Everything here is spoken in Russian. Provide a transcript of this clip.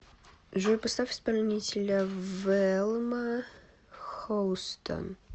джой поставь исполнителя велма хоустон